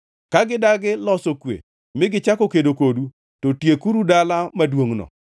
Ka gidagi loso kwe mi gichako kedo kodu, to tiekuru dala maduongʼno.